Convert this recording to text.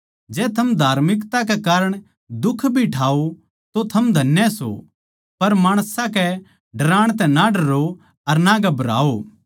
जै थम धार्मिकता कै कारण दुख भी ठाओ तो थम धन्य सो पर माणसां के डराण तै ना डरो अर ना घबराओ